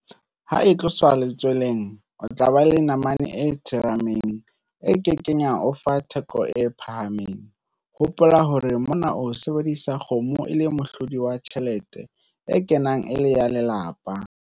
Ha e tloswa letsweleng, o tla ba le namane e tsheremang, e ke keng ya o fa theko e phahameng, hopola hore mona o sebedisa kgomo e le mohlodi wa tjhelete e kenang e le ya lelapa.